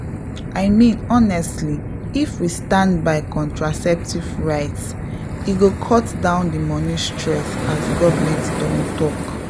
i mean honestly if we stand by contraceptive rights e go cut down the money stress as government don talk — um.